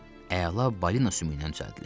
Əla balina sümüyündən düzəldilib.